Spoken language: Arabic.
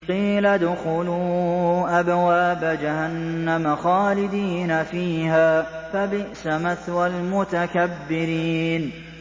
قِيلَ ادْخُلُوا أَبْوَابَ جَهَنَّمَ خَالِدِينَ فِيهَا ۖ فَبِئْسَ مَثْوَى الْمُتَكَبِّرِينَ